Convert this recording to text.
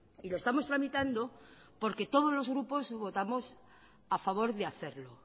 y lo estamos tramitando porque todos los grupos votamos a favor de hacerlo